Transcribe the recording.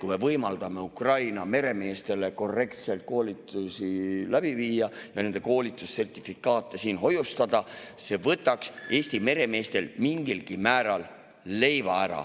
kui me võimaldame Ukraina meremeeste koolitusi korrektselt läbi viia ja nende koolitussertifikaate siin hoiustada, siis see võtaks Eesti meremeestelt mingilgi määral leiva ära.